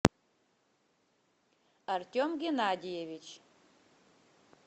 артем геннадьевич